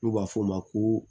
N'u b'a fɔ o ma ko